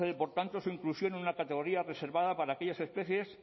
procede por tanto su inclusión en una categoría reservada para aquellas especies